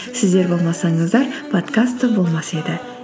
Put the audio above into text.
сіздер болмасаңыздар подкаст та болмас еді